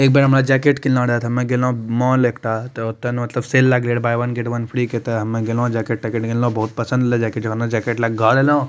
एक बार हमरा जैकेट किने रहे हमे गेलो मॉल एक ठो मतलब सेल लागले रहे buy one get one free तो हमे गेलो जैकेट तेकेट किनलो बहुत पसंद लागले जैकेट लेके घरे अइलो।